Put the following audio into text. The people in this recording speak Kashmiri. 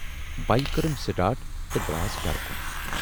بایِک کٔرٕم سِٹاٹ تہٕ دراس گرٕ کُن۔